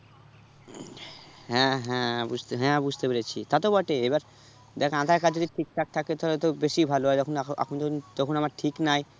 হ্যাঁ হ্যাঁ বুঝতে হ্যাঁ বুঝতে পেরেছি তাতো বটে এবার দ্যাখ আঁধার card যদি ঠিক ঠাক থাকে তাহলে তো বেশি ভালো হয় যখন এখ~ এখন যখন তখন আমার ঠিক নাই